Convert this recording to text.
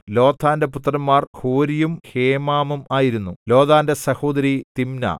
ലോതാന്റെ പുത്രന്മാർ ഹോരിയും ഹേമാമും ആയിരുന്നു ലോതാന്റെ സഹോദരി തിമ്നാ